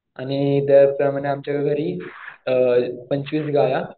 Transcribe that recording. आणि आमच्या घरी अ पंचवीस गाया